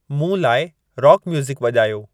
मूं लाइ रॉक म्युजिकु वॼायो